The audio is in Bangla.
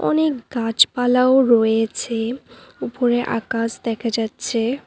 অনেক গাছপালাও রয়েছে উপরে আকাশ দেখা যাচ্ছে।